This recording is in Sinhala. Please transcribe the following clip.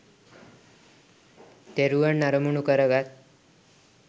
තෙරුවන් අරමුණු කරගත්